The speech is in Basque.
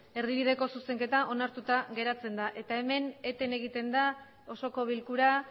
erdibideko zuzenketa onartuta geratzen da eta hemen eten egiten da osoko bilkura